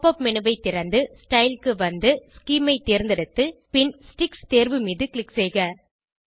pop up menu ஐ திறந்து style க்கு வந்து ஸ்கீம் ஐ தேர்ந்தெடுத்து பின் ஸ்டிக்ஸ் தேர்வு மீது க்ளிக் செய்க